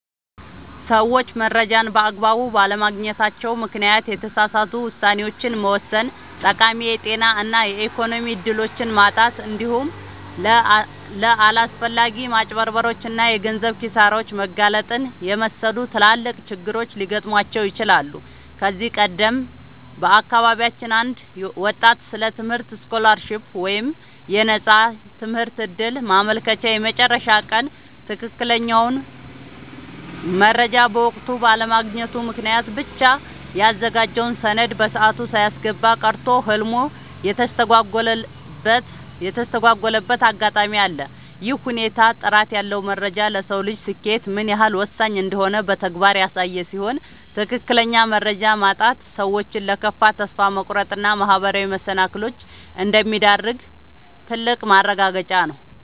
ሰዎች መረጃን በአግባቡ ባለማግኘታቸው ምክንያት የተሳሳቱ ውሳኔዎችን መወሰን፣ ጠቃሚ የጤና እና የኢኮኖሚ እድሎችን ማጣት፣ እንዲሁም ለአላስፈላጊ ማጭበርበሮች እና የገንዘብ ኪሳራዎች መጋለጥን የመሰሉ ትላልቅ ችግሮች ሊገጥሟቸው ይችላሉ። ከዚህ ቀደም በአካባቢያችን አንድ ወጣት ስለ ትምህርት ስኮላርሺፕ (የነፃ ትምህርት ዕድል) ማመልከቻ የመጨረሻ ቀን ትክክለኛውን መረጃ በወቅቱ ባለማግኘቱ ምክንያት ብቻ ያዘጋጀውን ሰነድ በሰዓቱ ሳያስገባ ቀርቶ ህልሙ የተስተጓጎለበት አጋጣሚ አለ። ይህ ሁኔታ ጥራት ያለው መረጃ ለሰው ልጅ ስኬት ምን ያህል ወሳኝ እንደሆነ በተግባር ያሳየ ሲሆን፣ ትክክለኛ መረጃ ማጣት ሰዎችን ለከፋ ተስፋ መቁረጥ እና ማህበራዊ መሰናክሎች እንደሚዳርግ ትልቅ ማረጋገጫ ነው።